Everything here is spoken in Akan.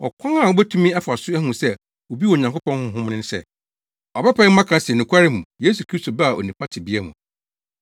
Ɔkwan a wubetumi afa so ahu sɛ obi wɔ Onyankopɔn Honhom no ne sɛ, ɔbɛpae mu aka se, nokwarem Yesu Kristo baa onipa tebea mu.